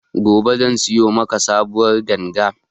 Gobe zan siyo maku sabuwar ganga